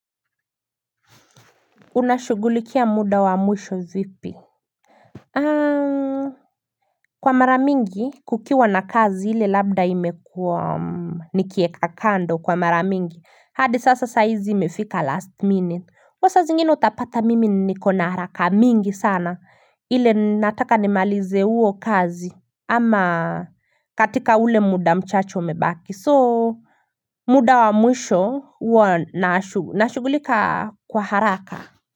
Unashugulikia muda wa mwisho vipi Kwa mara mingi kukiwa na kazi ile labda imekuwa nikiweka kando kwa mara mingi hadi sasa saa hizi imefika last minute sa zingine utapata mimi nikona haraka mingi sana ile nataka nimalize huo kazi ama katika ule muda mchache umebaki muda wa mwisho huwa nashughulika kwa haraka.